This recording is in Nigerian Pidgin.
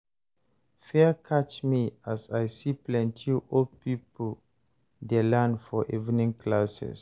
fear catch me as I see plenty old people dey learn for evening classes